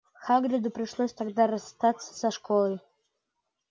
хагриду пришлось тогда расстаться со школой